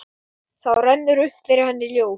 Þá rennur upp fyrir henni ljós.